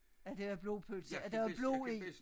At der var blodpølse at der var blod i